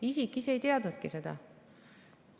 Isik ise ei teadnudki seda.